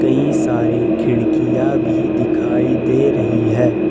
सारी खिड़कियां भी दिखाई दे रही है।